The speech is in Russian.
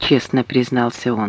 честно признался он